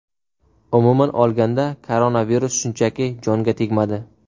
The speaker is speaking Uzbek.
Umuman olganda koronavirus shunchaki jonga tegmadi.